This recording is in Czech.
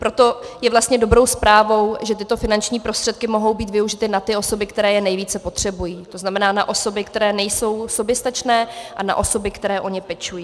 Proto je vlastně dobrou zprávou, že tyto finanční prostředky mohou být využity na ty osoby, které je nejvíce potřebují, to znamená na osoby, které nejsou soběstačné, a na osoby, které o ně pečují.